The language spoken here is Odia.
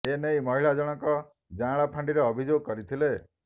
ଏ ନେଇ ମହିଳା ଜଣଙ୍କ ଯାଁଳା ଫାଣ୍ଡିରେ ଅଭିଯୋଗ କରିଥିଲେ